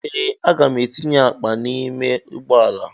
Ee, aga m etinye akpa m n'ime ụgbọala.